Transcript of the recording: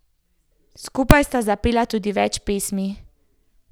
Skupaj sta zapela tudi več pesmi.